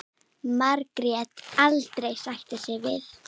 Margrét aldrei sætta sig við.